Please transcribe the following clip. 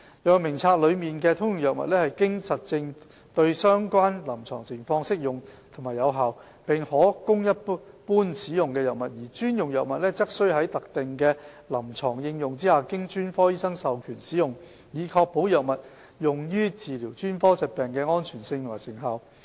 藥物名冊內的"通用藥物"是經證實對相關臨床情況適用和有效，並可供一般使用的藥物；而"專用藥物"則須在特定的臨床應用下經專科醫生授權使用，以確保藥物用於治療專科疾病的安全性和成效。